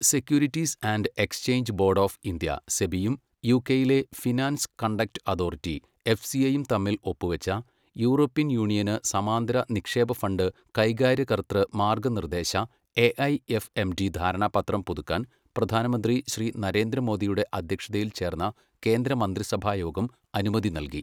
Securities and exchange board of India SEBI യും യുകെയിലെ finance conduct authority എഫ്സിഐയും തമ്മിൽ ഒപ്പുവച്ച യൂറോപ്യൻ യൂണിയന് സമാന്തര നിക്ഷേപ ഫണ്ട് കൈകാര്യകർതൃ മാർഗ്ഗനിർദ്ദേശ എഐഎഫ്എംഡി ധാരണാപത്രം പുതുക്കാൻ പ്രധാനമന്ത്രി ശ്രീ നരേന്ദ്ര മോദിയുടെ അധ്യക്ഷതയിൽ ചേർന്ന കേന്ദ്ര മന്ത്രിസഭാ യോഗം അനുമതി നല്കി.